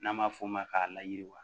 N'an b'a f'o ma ka layiriwa